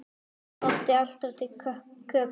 Amma átti alltaf til kökur.